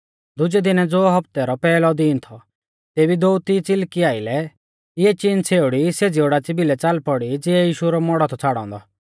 दुजै दिनै ज़ो हौफ्तै रौ पैहलौ दीन थौ तेबी दोअती च़िलकी आरी इऐ चिन छ़ेउड़ी सेज़ी ओडाच़ी भिलै च़ाल पौड़ी ज़िऐ यीशु रौ मौड़ौ थौ छ़ाड़ौ औन्दौ